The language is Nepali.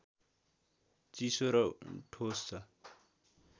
चिसो र ठोस छ